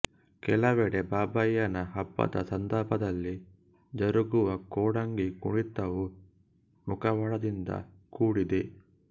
ಕೆಲವೆಡೆ ಬಾಬಯ್ಯನ ಹಬ್ಬದ ಸಂದರ್ಭದಲ್ಲಿ ಜರುಗುವ ಕೋಡಂಗಿ ಕುಣಿತವೂ ಮುಖವಾಡದಿಂದ ಕೂಡಿದೆ